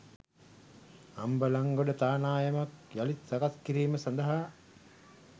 අම්බලන්ගොඩ තානායමක් යළිත් සකස් කිරීම සඳහා